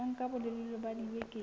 ya nka bolelele ba dibeke